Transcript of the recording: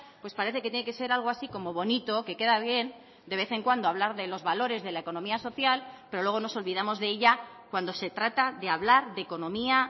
pues parece que tiene que ser algo así como bonito que queda bien de vez en cuando hablar de los valores de la economía social pero luego nos olvidamos de ella cuando se trata de hablar de economía